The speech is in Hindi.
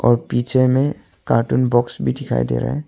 और पीछे में कार्टून बॉक्स भी दिखाई दे रहा है।